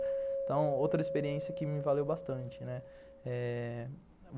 Então, outra experiência que me valeu bastante.